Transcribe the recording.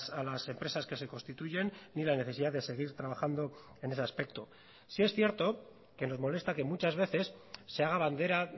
a las empresas que se constituyen ni la necesidad de seguir trabajando en ese aspecto sí es cierto que nos molesta que muchas veces se haga bandera